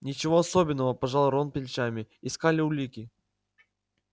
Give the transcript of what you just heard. ничего особенного пожал рон плечами искали улики